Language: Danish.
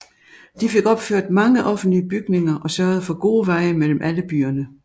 De fik opført mange offentlige bygninger og sørgede for gode veje mellem alle byerne